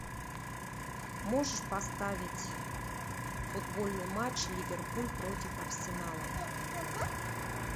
можешь поставить футбольный матч ливерпуль против арсенала